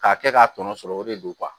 K'a kɛ k'a tɔnɔ sɔrɔ o de don